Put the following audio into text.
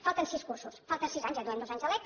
falten sis cursos falten sis anys ja duem dos anys de lec